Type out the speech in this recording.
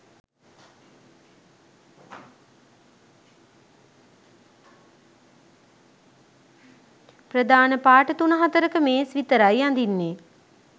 ප්‍රධාන පාට තුන හතරක මේස් විතරයි අඳින්නේ.